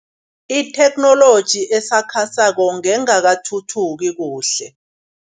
Itheknoloji esakhasako ngengakathuthuki kuhle.